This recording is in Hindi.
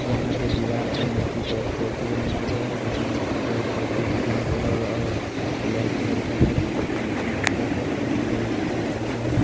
यहाँ पर दीवाल पर मूर्ति का स्टेच्यु बनाया गया है जो की मूर्ति का statue green colour black colour का है जो देखने में खुबसूरत है पुराने जमाने का बनाया गया है।